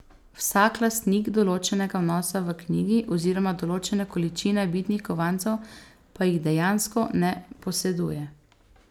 Vsak lastnik določenega vnosa v knjigi, oziroma določene količine bitnih kovancev, pa jih dejansko ne poseduje.